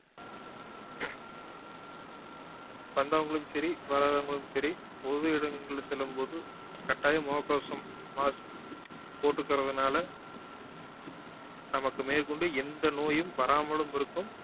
வந்தவங்களும் சரி வராதவங்களும் சரி பொது இடங்களில செல்லும் போது கட்டாயம் முக கவசம் mask போட்டுகறதுனால நமக்கு மேற்கொண்டு எந்த நோயும் வராமலும் இருக்கும்